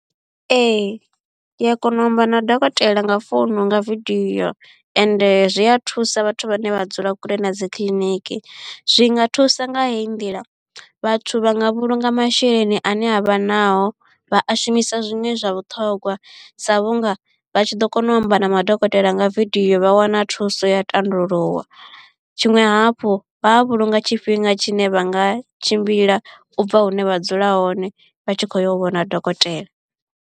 Ee ndi a kona u amba na dokotela nga founu nga video ende zwi a thusa vhathu vhane vha dzula kule na dzi kiḽiniki zwi nga thusa nga heyi ndila vhathu vha nga vhulunga masheleni ane avha nao vha a shumisa zwiṅwe zwa vhuṱhongwa sa vhunga vha tshi ḓo kona u amba na madokotela nga vidio vha wana thuso ya tandululwa. Tshiṅwe hafhu vha a vhulunga tshifhinga tshine vha nga tshimbila ubva hune vha dzula hone vha tshi kho yo u vhona dokotela.